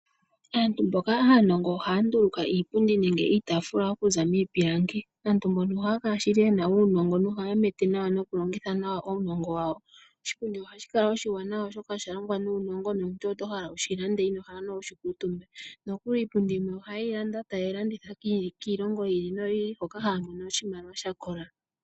Aantu mboka aanongo ohaya nduuluka iipundi nenge iitaafula okuza miipilangi. Aantu mbaka ohaya kala shili yena uunongo nohaya mete nawa noku longitha nawa uunongo wawo. Oshipundi ohashi kala oshiwanawa oshoka oshalongwa nuunongo nomuntu oho shilanda nande inohala wushi kuutumbe. Nokuli iipundi yimwe ohaye yi landa taye yi landitha kiilongo yimwe yi ili noyi ili hoka haya mono oshimaliwa shakola.